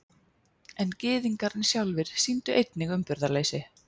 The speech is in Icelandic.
En Gyðingar sjálfir sýndu einnig umburðarleysi.